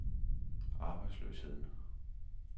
arbejdsløsheden